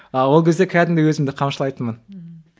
а ол кезде қәдімгідей өзімді қамшылайтынмын ммм